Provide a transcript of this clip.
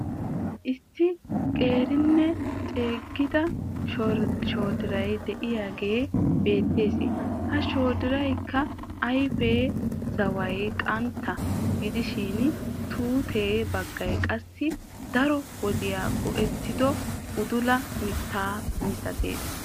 Issi qeerinne ceeggida shoodiray de"iyaagee beettees. Ha shoodiraassikka ayfe zaway qantta gidishin tuute baggay qassi daro wodiya go"ettido udula mittaa misatees.